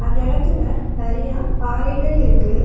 அந்த எடத்துல நெறையா பாறைகள் இருக்கு.